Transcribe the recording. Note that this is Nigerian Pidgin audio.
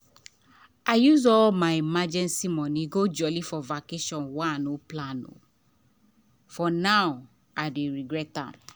i use all my emergency money go jolly for vacation wey i no plan for now i dey regret am.